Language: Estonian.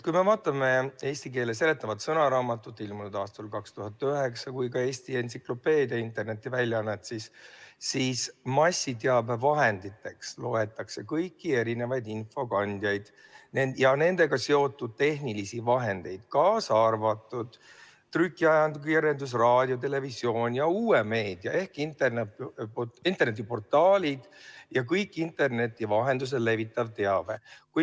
Kui me vaatame eesti keele seletavat sõnaraamatut, ilmunud aastal 2009, samuti "Eesti entsüklopeedia" internetiväljaannet, siis massiteabevahenditeks loetakse kõiki erinevaid infokandjaid ja nendega seotud tehnilisi vahendeid, kaasa arvatud trükiajakirjandus, raadio, televisioon ja uus meedia ehk internetiportaalid ja kõik interneti vahendusel levitatav teave.